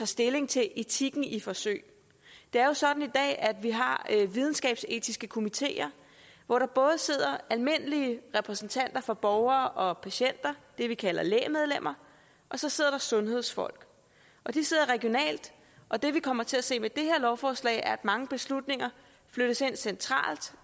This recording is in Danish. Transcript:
stilling til etikken i forsøg det er jo sådan i dag at vi har videnskabsetiske komiteer hvor der både sidder almindelige repræsentanter for borgere og patienter det vi kalder lægmedlemmer og så sidder der sundhedsfolk de sidder regionalt og det vi kommer til at se med det her lovforslag er at mange beslutninger flyttes ind centralt